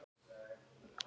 Nú er það Örið.